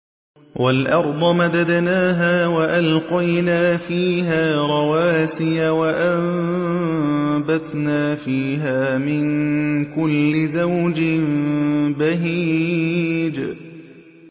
وَالْأَرْضَ مَدَدْنَاهَا وَأَلْقَيْنَا فِيهَا رَوَاسِيَ وَأَنبَتْنَا فِيهَا مِن كُلِّ زَوْجٍ بَهِيجٍ